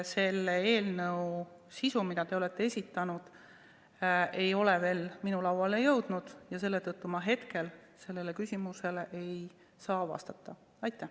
Selle eelnõu sisu, mille te olete esitanud, ei ole veel minu lauale jõudnud ja seetõttu ma hetkel sellele küsimusele vastata ei saa.